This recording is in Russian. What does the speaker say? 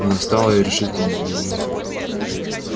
она встала и решительно заявила